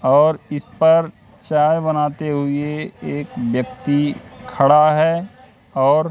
और इस पर चाय बनाते हुए एक व्यक्ति खड़ा है और--